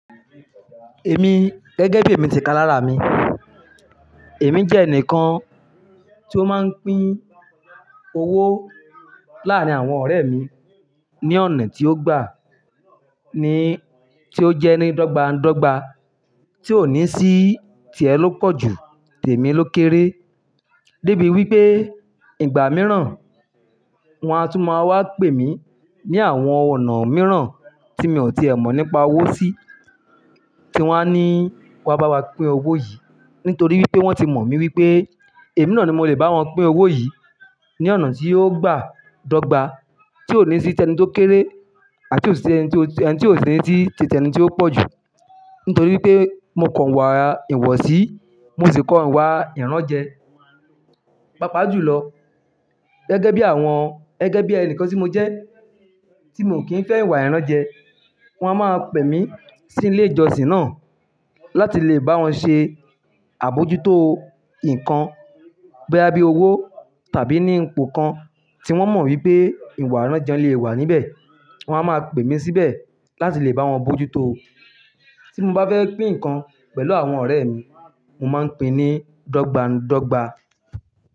Èmi gẹ́gẹ́ bí èmi ti kalara mi, èmi jẹ ẹnìkan tí ó máa ń pín owó láàrin àwọn ọ̀rẹ́ mi ní ọ̀nà tí ó gbà ní, tí ó jẹ́ ní dogba n dogba tí ò ní sí tì ẹ ló pọ̀jù tèmí ló kéré. Débi wípé ìgbà mìíràn wọ́n á tún máa wá pè mí ní àwọn ọ̀nà mìíràn tí mi ò ti ẹ mọ̀ nípa owó sí, tí wọ́n á ní wá bá wa pín owó yìí nítorí wípé wọ́n ti mọ̀ mí wípé èmi náà ni mo lè bá wọn pín owó yìí ní ọ̀nà tí ó gbà dogba tí ò ní sí tẹni tó kéré àti ò sí tẹni tó, ẹni tí ò sí ní sí tì tẹni tí ó pọ̀jù nítorí wípé mo ko iwà ìwọsí, mo sì ko iwà ìránjẹ. Paápaá jù lọ, gẹ́gẹ́ bí àwọn, gẹ́gẹ́ bí ẹni kan tí mo jẹ́ tí mi ò kí ń fẹ́ ìwà ìránjẹ, wọ́n á máa pè mí sí ilé ìjọsìn náà láti lè bá wọn ṣe àbojútó i nǹkan boya bi owó tàbí ní ipò kan tí wọ́n mọ̀ wípé ìwà ìránjẹ le è wà níbẹ̀. Wọ́n á máa pè mí síbẹ̀ láti lè bá wọn bojútó. Tí mo bá fẹ́ pín ǹkan pẹ̀lú àwọn ọ̀rẹ́ mi, mo máa ń pín ní dogba ndogba.